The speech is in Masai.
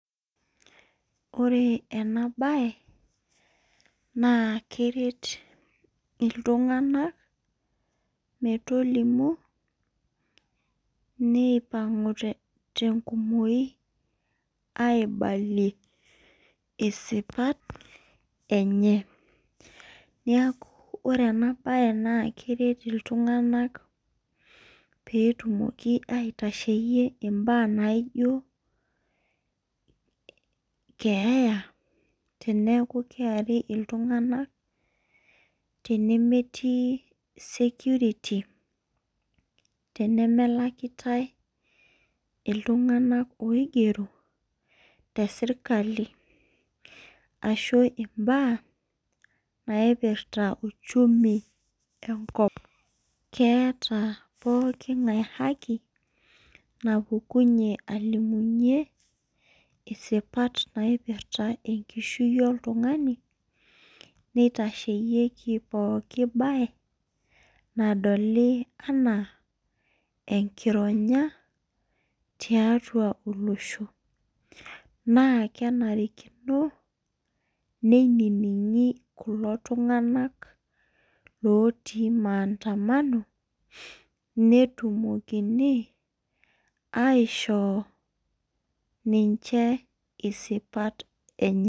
Ore enabae na keret ltunganak metolimu nipangu tengunoi aibalie sipat enye neaku ore enabae na keret ltunganak petumoki aitasheyie ntokitin naijo keeya teneaku keari ltunganak tenemwlakitae ltunganak oigero teserkali ashu mbaa naipirta uchumi tenkop keeta pokki ngae haki naipangu alimunye isipat naipirta sipat oltungani nitasheyieki pooki bae nadoli ana enkironya tiatua olosho na kenarikino neiningi kulo tunganak otii maandamano metumokimi ninche aisho sipat enye.